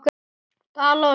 Dala og Snæf.